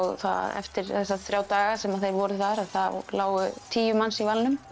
eftir þessa þrjá daga sem þeir voru þar að þá lágu tíu manns í valnum